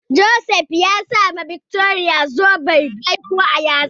Joseph ya sa ma Victoria zoben baiko a yatsa.